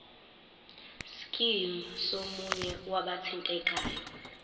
scheme somunye wabathintekayo